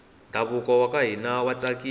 ndhavuko waka hina wa tsakisa